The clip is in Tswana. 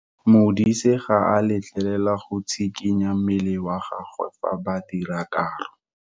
Modise ga a letlelelwa go tshikinya mmele wa gagwe fa ba dira karo.